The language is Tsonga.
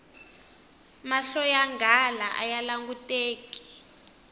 mahlo ya nghala aya languteki